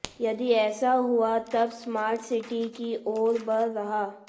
यदि ऐसा हुआ तब स्मार्ट सिटी की ओर बढ़ रहा